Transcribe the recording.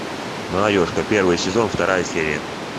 молодежка первый сезон вторая серия